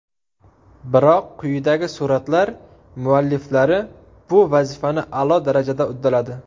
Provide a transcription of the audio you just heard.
Biroq quyidagi suratlar mualliflari bu vazifani a’lo darajada uddaladi.